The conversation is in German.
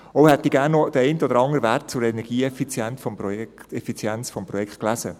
Auch hätte ich gerne den einen oder anderen Wert zur Energieeffizienz des Bauprojekts gelesen.